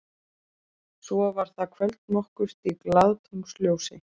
Svo var það kvöld nokkurt í glaðatunglsljósi.